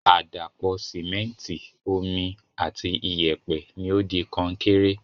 Àdàpọ̀ Sìmẹ́ntìì, Omi ati iyẹ̀pẹ̀ ni o di Kọnkéré